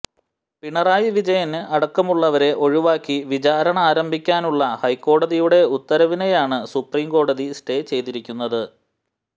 പിണറായി വിജയന് അടക്കമുള്ളവരെ ഒഴിവാക്കി വിചാരണ ആരംഭിക്കാനുള്ള ഹൈക്കോടതിയുടെ ഉത്തരവിനെയാണ് സുപ്രീംകോടതി സ്റ്റേ ചെയ്തിരിക്കുന്നത്